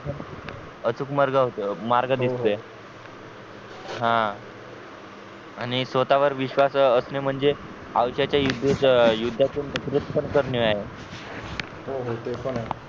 अचूक मार्ग अह निघते हो हा आणि स्वतः वर विश्वास असणे म्हणजे आयुष्याच्या युद्ध युद्धातुन करणे आहे हो हो ते पण आहे